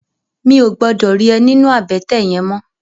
Mi ó gbòdò ri è ninú àbètè yèn mò